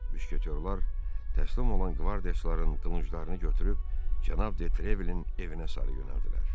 Müşketyorlar təslim olan qvardiyaçıların qılınclarını götürüb cənab De Trevilin evinə sarı yönəldilər.